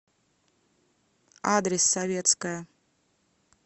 адрес советская